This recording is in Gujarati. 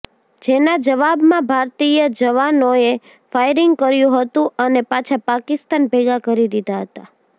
જેના જવાબમાં ભારતીય જવાનોએ ફાયરીંગ કર્યું હતું અને પાછા પાકિસ્તાન ભેગા કરી દીધા હતા